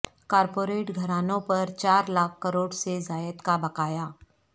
corporate گھرانوں پر چار لاکھ کروڑ سے زائد کا بقایا